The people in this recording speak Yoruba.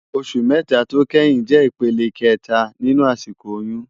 Óṣù mètá tó kéyìn jè ipélé ikètá ninú àsikó óyùn